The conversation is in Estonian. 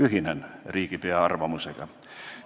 Ühinen riigipea arvamusega.